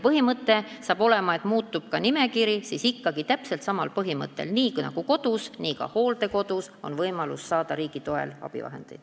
Põhimõte hakkab olema see, et nimekiri muutub ikkagi täpselt samal printsiibil, et nii nagu kodus, nii ka hooldekodus on võimalik saada riigi toel abivahendeid.